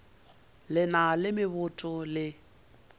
le na le meboto le